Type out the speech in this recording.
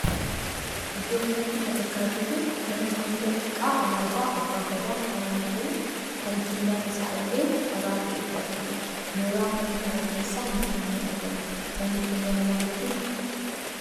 Iddoo kanatti kan argaa jirru mana hanga xiqqaa alaabaa Abbaa Gadaan faayyamee jiru kan Killaan isaa illee dhagaa ta'etu argama. Mooraa mana kanaa keessa mukkeen ni argamu. Manni kun mana maaliiti?